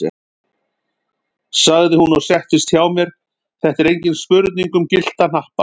sagði hún og settist hjá mér, þetta er engin spurning um gyllta hnappa!